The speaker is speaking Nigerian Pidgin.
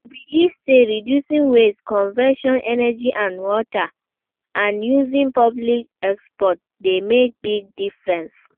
I dey believe say reducing waste, conserving energy and water, and using public transport dey make big difference.